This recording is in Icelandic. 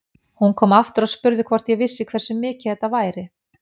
Hún kom aftur og spurði hvort ég vissi hversu mikið þetta væri.